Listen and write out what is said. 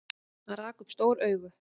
Hann rak upp stór augu.